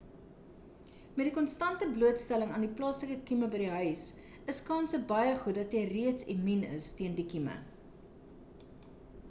met die konstante blootstelling aan die plaaslike kieme by die huis is kanse baie goed dat jy reeds immuun is teen die kieme